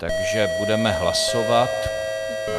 Takže budeme hlasovat.